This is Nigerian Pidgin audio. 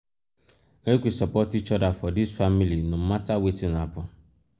make we support each oda for dis family no mata wetin happen.